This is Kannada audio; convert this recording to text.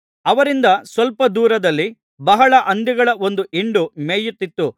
ಅವರಿಂದ ಸ್ವಲ್ಪ ದೂರದಲ್ಲಿ ಬಹಳ ಹಂದಿಗಳ ಒಂದು ಹಿಂಡು ಮೇಯುತ್ತಿತ್ತು